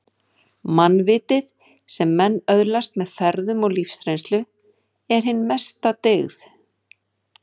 Mannvitið, sem menn öðlast með ferðum og lífsreynslu, er hin æðsta dyggð